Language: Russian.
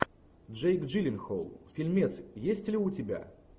джейк джилленхол фильмец есть ли у тебя